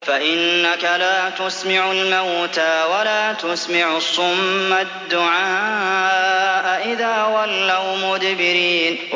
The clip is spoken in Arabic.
فَإِنَّكَ لَا تُسْمِعُ الْمَوْتَىٰ وَلَا تُسْمِعُ الصُّمَّ الدُّعَاءَ إِذَا وَلَّوْا مُدْبِرِينَ